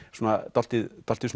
dálítið dálítið